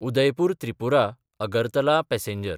Udaipur त्रिपुरा–अगरतला passenger